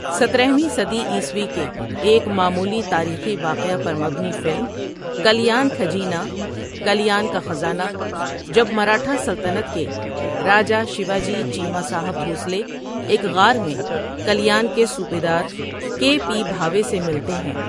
سترہویں صدی عیسوی کے ایک معمولی تاریخی واقعہ پر مبنی فلم کلیان کھجینا کلیان کا خزانہ جب مراٹھا سلطنت کے راجا شیواجی چیما صاحب بھوسلے ایک غٖار میں کلیان کے صوبیدار کے پی بھاوے سے ملتے ہیں ۔